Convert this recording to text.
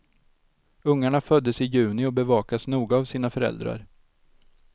Ungarna föddes i juni och bevakas noga av sina föräldrar.